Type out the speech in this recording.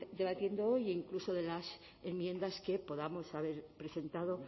debatiendo hoy e incluso de las enmiendas que podíamos haber presentado